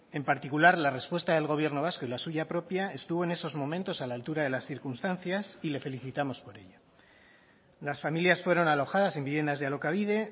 en particular la respuesta del gobierno vasco y la suya propia estuvo en esos momentos a la altura de las circunstancias y le felicitamos por ello las familias fueron alojadas en viviendas de alokabide